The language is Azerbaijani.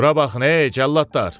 Bura bax hey cəlladlar!